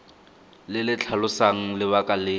le le tlhalosang lebaka le